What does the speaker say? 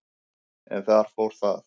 en þar fór það.